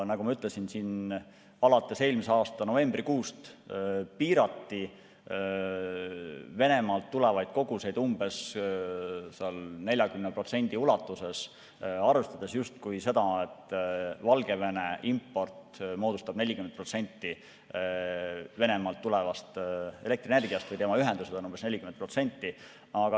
Nagu ma ütlesin, alates eelmise aasta novembrikuust piirati Venemaalt tulevaid koguseid umbes 40% ulatuses, arvestades justkui seda, et Valgevene import moodustab 40% Venemaalt tulevast elektrienergiast või tema ühendused on sellest umbes 40%.